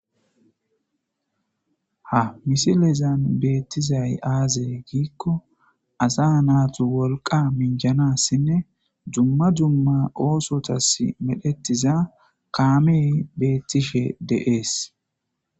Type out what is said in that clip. ha misilezan beettizay aazey giikko asa naatu wolqa minjanassinne jumma jumma oosotas medhettiza kaamey beettishe deees